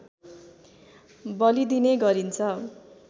बलिदिने गरिन्छ